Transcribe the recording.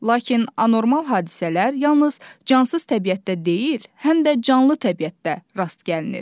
Lakin anormal hadisələr yalnız cansız təbiətdə deyil, həm də canlı təbiətdə rast gəlinir.